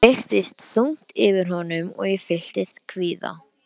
Það virtist þungt yfir honum og ég fylltist kvíða.